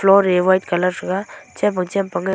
floor e white colour thega chem pang chem pang e--